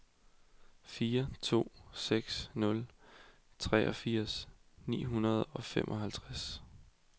fire to seks nul treogfirs ni hundrede og femoghalvtreds